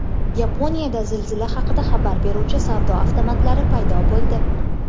Yaponiyada zilzila haqida xabar beruvchi savdo avtomatlari paydo bo‘ldi.